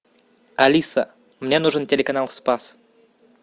алиса мне нужен телеканал спас